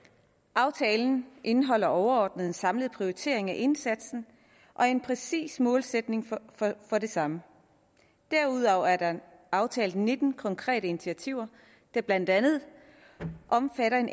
aftalen indeholder overordnet en samlet prioritering af indsatsen og en præcis målsætning for det samme derudover er aftalt nitten konkrete initiativer der blandt andet omfatter en